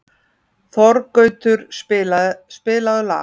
Þorgautur, spilaðu lag.